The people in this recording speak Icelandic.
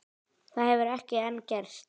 Það hefur ekki enn gerst.